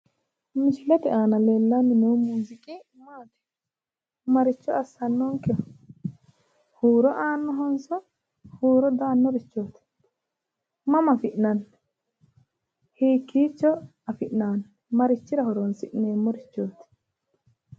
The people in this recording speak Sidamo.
Misilete aana leellanni noohu maati? Maricho leellishannonkeho? Huuro aannonkehonso huuro di aannorichioti mama afi'neemno? Hiikkiicho afi'nanni ? Marichira horonsi'neemmorichooti?